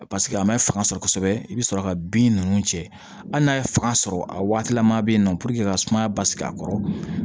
Paseke a ma fanga sɔrɔ kosɛbɛ i bɛ sɔrɔ ka bin ninnu cɛ hali n'a ye fanga sɔrɔ a waati lama bɛ yen nɔ ka sumaya basigi a kɔrɔ